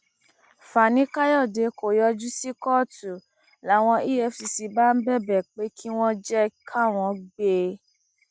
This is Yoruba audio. fanikàyọdé kò yọjú sí kóòtù làwọn efcc bá ń bẹbẹ pé kí wọn jẹ káwọn gbé e